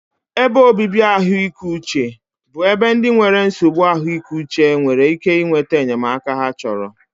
Ebe obibi ahụike uche bụ ebe ndị nwere nsogbu ahụike uche nwere ike nweta enyemaka ha chọrọ.